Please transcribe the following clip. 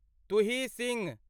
Tuhin Singh